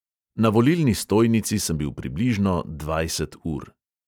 Na volilni stojnici sem bil približno dvajset ur.